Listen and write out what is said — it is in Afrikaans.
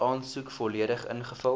aansoek volledig ingevul